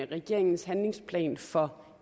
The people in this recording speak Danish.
regeringens handlingsplan for